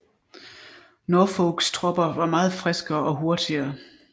Norfolks tropper var meget friskere og hurtigere